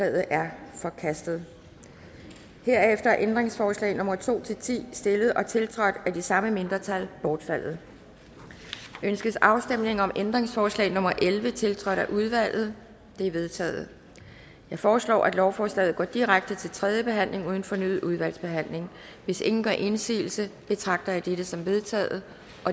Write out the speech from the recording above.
er forkastet herefter er ændringsforslag nummer to ti stillet og tiltrådt af de samme mindretal bortfaldet ønskes afstemning om ændringsforslag nummer elleve tiltrådt af udvalget det er vedtaget jeg foreslår at lovforslaget går direkte til tredje behandling uden fornyet udvalgsbehandling hvis ingen gør indsigelse betragter jeg dette som vedtaget